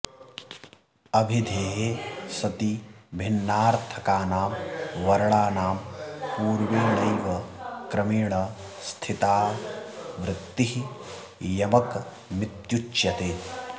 अभिधेये सति भिन्नार्थकानां वर्णानां पूर्वेणैव क्रमेण स्थिताऽवृत्तिः यमकमित्युच्यते